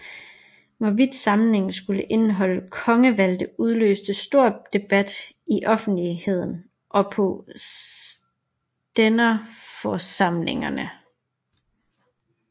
Hvorvidt forsamlingen skulle indeholde kongevalgte udløste stor debat i offentligheden og på stænderforsamlingerne